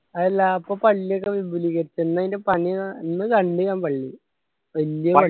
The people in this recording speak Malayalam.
അല്ല അപ്പൊ പള്ളികൾ വിപുലീകരിച്ച എന്ന അതിനു അന്ന് കണ്ടു ഞാൻ പള്ളി വെല്യ